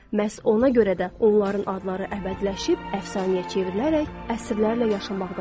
Məhz ona görə də onların adları əbədiləşib, əfsanəyə çevrilərək əsrlərlə yaşamaqdadır.